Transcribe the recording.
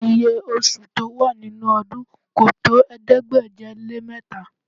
Iye oṣù tó wà nínú ọdún kò tó ̀ẹẹ́dégbèje-lé-mẹ́ta